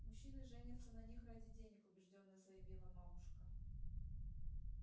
мужчины женятся на них ради денег убеждённо заявила мамушка